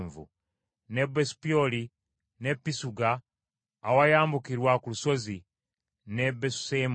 ne Besupyoli ne Pisuga awayambukirwa ku lusozi, ne Besu Yesimosi,